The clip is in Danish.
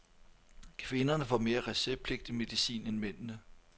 Kvinderne får mere receptpligtig medicin end mændene.